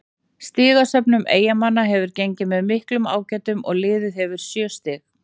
Stigasöfnun Eyjamanna hefur gengið með miklum ágætum og liðið hefur sjö stig.